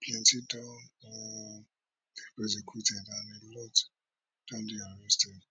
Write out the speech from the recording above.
plenti don um prosecuted and a lot don dey arrested